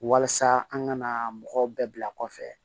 Walasa an ka na mɔgɔw bɛɛ bila kɔfɛ